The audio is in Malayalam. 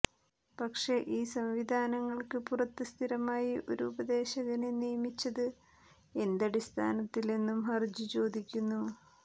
പക്ഷെ ഈ സംവിധാനങ്ങള്ക്ക് പുറത്ത് സ്ഥിരമായി ഒരു ഉപദേശകനെ നിയമിച്ചത് എന്തടിസ്ഥാനത്തിലെന്നും ഹര്ജി ചോദിക്കുന്നു